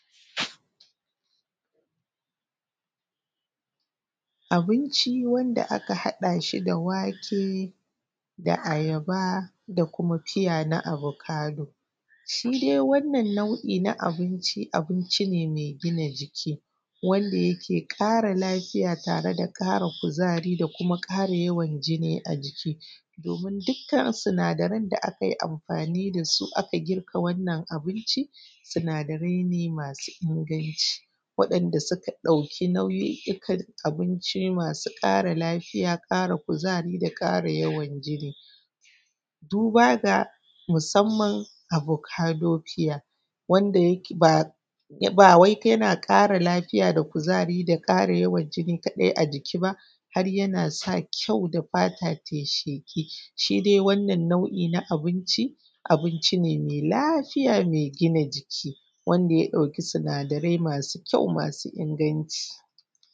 Abinci Wanda Aka Haɗa Shi da Wake da Ayaba da Kuma Fiya na Abokado. Shi dai wannan nau’i na abinci, abinci ne mai gina jiki wanda yake ƙara lafiya tare da ƙara kuzari da kuma ƙara yawan jini a jiki. Domin dukkan sinadaran da aka yi amfani da su aka girka wannan abinci, sinadarai ne masu inganci, waɗanda suka ɗauki nau’o’ikan abinci masu ƙara lafiya, ƙara yawan kuzari da ƙara yawan jini. Duba ga musamman abokado fiya, wanda yake ba wai yana ƙara lafiya da kuzari da ƙara yawan jini kaɗai a jiki ba, har yana sa kyau da fata ta yi sheƙi. Shi dai wannan nau’i na abinci, abinci ne mai lafiya mai gina jiki, wanda ya ɗauki sinadarai masu kyau masu inganci.